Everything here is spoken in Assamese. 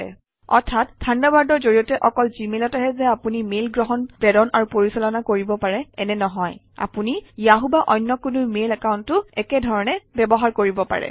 অৰ্থাৎ থাণ্ডাৰবাৰ্ডৰ জৰিয়তে অকল জিমেইলতহে যে আপুনি মেইল গ্ৰহণ প্ৰেৰণ আৰু পৰিচালনা কৰিব পাৰে এনে নহয় আপুনি য়াহু বা অন্য কোনো মেইল একাউণ্টো একে ধৰণে ব্যৱহাৰ কৰিব পাৰে